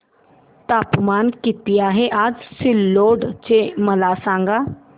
तापमान किती आहे आज सिल्लोड चे मला सांगा